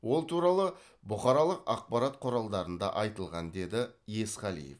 ол туралы бұқаралық ақпарат құралдарында айтылған деді есқалиев